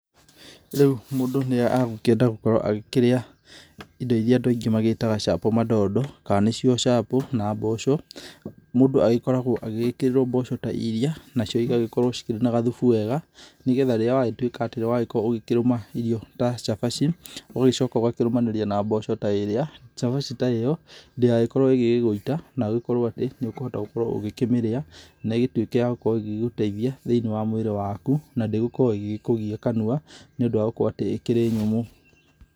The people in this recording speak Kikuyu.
Rĩũ mũndũ nĩagũkĩenda gũgĩkorwo agĩkĩrĩa indo irĩa andũ aingĩ magĩĩtaga chapo mandondo kana nĩcio chapo na mboco. Mũndũ agĩkoragwo agĩgĩkĩrĩrwo mboco ta irĩa, nacio igagĩkorwo cina gathufu wega, nĩgetha rĩrĩa wagĩtũĩka gũgĩkorwo ukĩrũma irio ta chabachi ũgagĩcoka ũgakorwo ukĩrũmanĩria na mboco ta ĩrĩa. Chabaci ta ĩyo ndĩgagĩkorwo ĩgĩgũita na ũgagĩkorwo atĩ nĩũkũhota gũkorwo ukĩmĩrĩa na ĩgĩtuĩke ya gũgĩkorwo ĩgĩgũteithia thĩiniĩ wa mũĩrĩ waku. Na ndĩgũkorwo ĩgĩgĩkũgia kanua, nĩũndũ wa gũkorwo atĩ ĩkĩrĩ nyũmũ.